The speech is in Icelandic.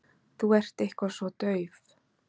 Þú ert eitthvað svo dauf.